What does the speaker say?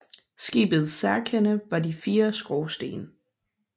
Skibets særkende var de fire skorstene